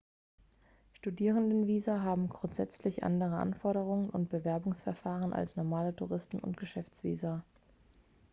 studierendenvisa haben grundsätzlich andere anforderungen und bewerbungsverfahren als normale touristen oder geschäftsvisa